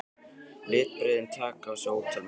Litbrigðin taka á sig ótal myndir.